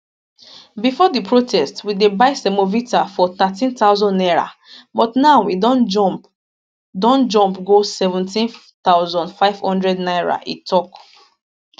bifor di protest we dey buy semovita for 13000 naira but now e don jump don jump go 17500 naira e tok